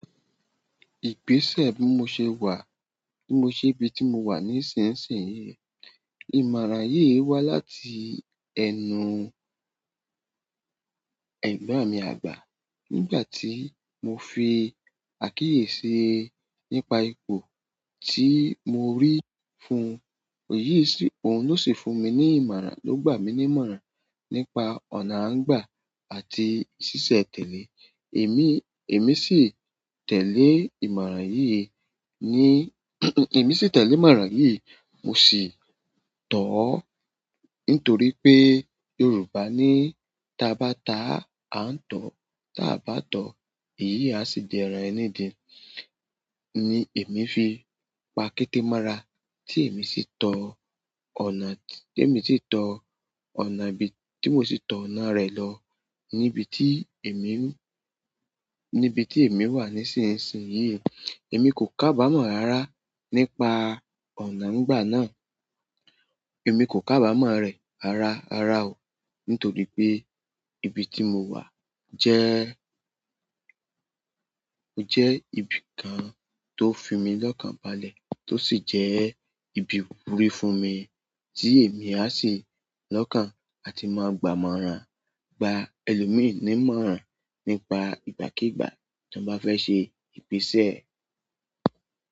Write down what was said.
Ìgbèsè bí mo ṣe wà, bí mo ṣe ibi tí mo wà nísinsìnyí. Ìmọ̀ alaaye yi wa láti ẹnu ẹ̀gbọ́n mi àgbà nígbà tí mo fi àkíyèsí nípa ipò tí mo rí fún, òyi sì, òun ló sì fún mi ní ìmọ̀ràn, ló gbà mí ní ìmọ̀ràn nípa ọ̀nà àńgbà àti ṣíṣe tẹ̀lé. Èmi, èmi sì tẹ̀lé ìmọ̀ràn yìí ní, èmi sì tẹ̀lé ìmọ̀ràn yìí, mo sì tọ̀ ọ́ nítorí pé Yorùbá ní "táa bá ta a n tọ̀ọ́, táa bá tọ̀ọ́, ìyí á sì di ẹran ẹni dì" ni èmi fi pa kété mára tí èmi sì tọ ọ̀nà tí, èmi sì tọ ọ̀nà ibi tí mo sì tọ ọ̀nà rẹ̀ lọ níbi tí èmi, níbi tí èmi wà nísinsìnyí. Èmi kò kábàámọ̀ rara nípa ọ̀nà ńgbà náà. Emi ko kabamo re rara rara o nítorí pe ibi ti mo wa je ó jẹ́ ibi kan tó fi mí lọ́kàn balẹ̀ tó sì jẹ́ ibi ìwúrí fún mi tí èmi á sì lọ́kàn àti máa gbà mọ̀ràn, gba ẹlòmíràn ní ìmọ̀ràn nípa ìgbàkígbà tí wọ́n bá fẹ́ ṣe ìgbèsè.